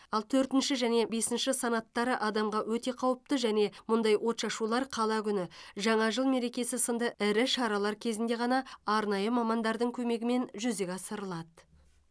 ал төртінші және бесінші санаттары адамға өте қауіпті және мұндай отшашулар қала күні жаңа жыл мерекесі сынды ірі шаралар кезінде ғана арнайы мамандардың көмегімен жүзеге асырылады